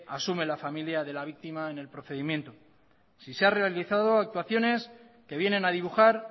asume la familia de la víctima en el procedimiento si se han realizado actuaciones que vienen a dibujar